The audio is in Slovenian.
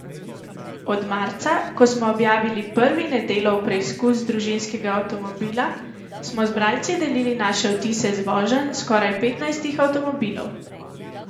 Od marca, ko smo objavili prvi Nedelov preizkus družinskega avtomobila, smo z bralci delili naše vtise z voženj skoraj petnajstih avtomobilov.